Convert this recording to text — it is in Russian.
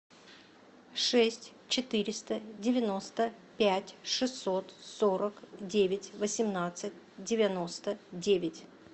шесть четыреста девяносто пять шестьсот сорок девять восемнадцать девяносто девять